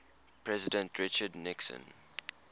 president richard nixon